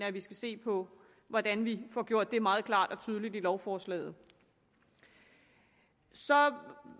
at vi skal se på hvordan vi får det gjort meget klart og tydeligt i lovforslaget så